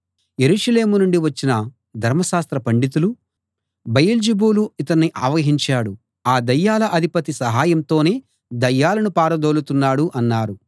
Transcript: యెరూషలేము నుండి వచ్చిన ధర్మశాస్త్ర పండితులు బయల్జెబూలు ఇతణ్ణి ఆవహించాడు ఆ దయ్యాల అధిపతి సహాయంతోనే దయ్యాలను పారదోలుతున్నాడు అన్నారు